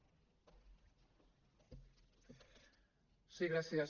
sí gràcies